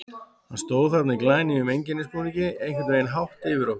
Hann stóð þarna í glænýjum einkennisbúningi, einhvern veginn hátt yfir okkur.